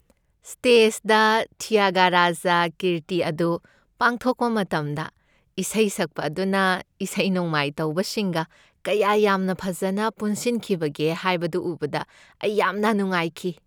ꯁ꯭ꯇꯦꯖꯗ ꯊ꯭ꯌꯥꯒꯔꯥꯖꯥ ꯀ꯭ꯔꯤꯇꯤ ꯑꯗꯨ ꯄꯥꯡꯊꯣꯛꯄ ꯃꯇꯝꯗ ꯏꯁꯩ ꯁꯛꯄ ꯑꯗꯨꯅ ꯏꯁꯩ ꯅꯣꯡꯃꯥꯏ ꯇꯧꯕꯁꯤꯡꯒ ꯀꯌꯥ ꯌꯥꯝꯅ ꯐꯖꯅ ꯄꯨꯟꯁꯤꯟꯈꯤꯕꯒꯦ ꯍꯥꯏꯕꯗꯨ ꯎꯕꯗ ꯑꯩ ꯌꯥꯝꯅ ꯅꯨꯡꯉꯥꯏꯈꯤ ꯫